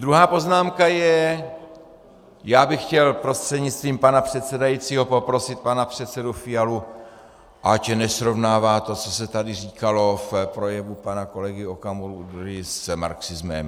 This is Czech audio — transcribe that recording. Druhá poznámka je, já bych chtěl prostřednictvím pana předsedajícího poprosit pana předsedu Fialu, ať nesrovnává to, co se tady říkalo v projevu pana kolegy Okamury, s marxismem.